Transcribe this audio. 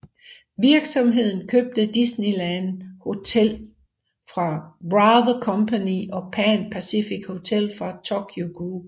Virksomheden købte Disneyland Hotel fra Wrather Company og Pan Pacific Hotel fra Tokyu Group